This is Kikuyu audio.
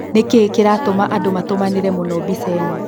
Nĩkĩĩ kĩratũma andũmatũmanĩre mũno mbica ĩno?